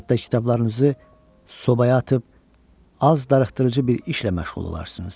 Hətta kitablarınızı sobaya atıb az darıxdırıcı bir işlə məşğul olarsınız.